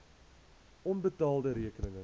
onbetaalde rekeninge